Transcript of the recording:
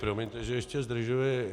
Promiňte, že ještě zdržuji.